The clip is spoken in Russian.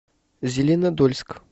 зеленодольск